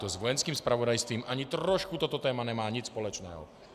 To s Vojenským zpravodajstvím ani trošku toto téma nemá nic společného.